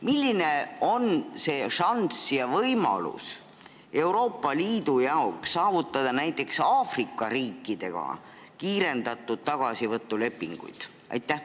Milline on Euroopa Liidu šanss sõlmida näiteks Aafrika riikidega kiirendatud korras tagasivõtulepinguid?